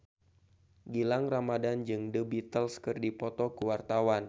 Gilang Ramadan jeung The Beatles keur dipoto ku wartawan